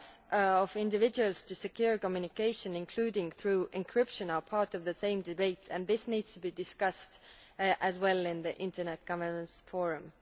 The rights of individuals to secure communication, including through encryption, are part of the same debate and this needs to be discussed as well in the Internet Governance Forum.